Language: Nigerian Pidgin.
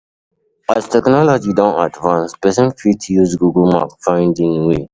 As technology done advance persin fit use google map find in way